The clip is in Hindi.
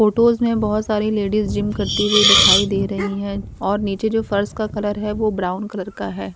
फोटोस में बहोत सारी लेडिस जिम करती हुई दिखाई दे रहीं है और नीचे जो फर्श का कलर है वो ब्राउन कलर का है।